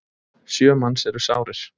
Sjö manns eru sárir.